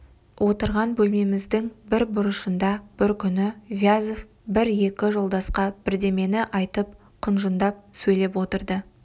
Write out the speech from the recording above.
отырған бөлмеміздің бір бұрышында бір күні вязов бір-екі жолдасқа бірдемені айтып құнжындап сөйлеп отырды